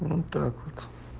ну так вот